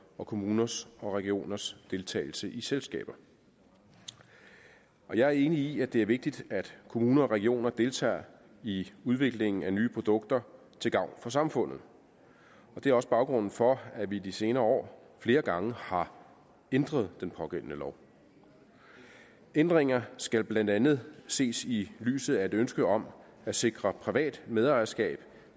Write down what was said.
og kommuners og regioners deltagelse i selskaber jeg er enig i at det er vigtigt at kommuner og regioner deltager i udviklingen af nye produkter til gavn for samfundet det er også baggrunden for at vi i de senere år flere gange har ændret den pågældende lov ændringer skal blandt andet ses i lyset af et ønske om at sikre privat medejerskab